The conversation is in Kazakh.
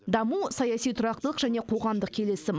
даму саяси тұрақтылық және қоғамдық келісім